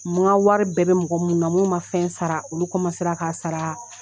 M nka wari bɛɛ bɛ mɔgɔ munnu na mun ma fɛn sara olu kɔmansera k'a saraaa.